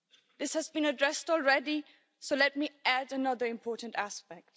This has been addressed already, so let me add another important aspect.